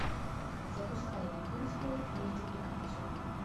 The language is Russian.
запускай японскую мультипликацию